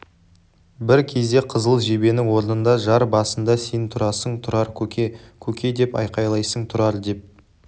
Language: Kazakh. бір кезде қызыл жебенің орнында жар басында сен тұрасың тұрар көке көке деп айқайлайсың тұрар деп